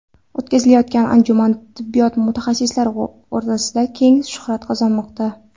O‘tkazilayotgan anjuman tibbiyot mutaxassislari orasida keng shuhrat qozonmoqda.